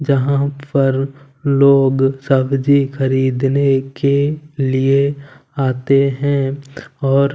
जहां पर लोग सब्जी खरीदने के लिए आते हैं और--